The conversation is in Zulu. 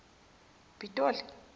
pitoli